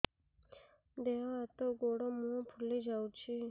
ଦେହ ହାତ ଗୋଡୋ ମୁହଁ ଫୁଲି ଯାଉଛି